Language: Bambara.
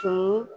Kunun